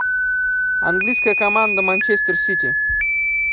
английская команда манчестер сити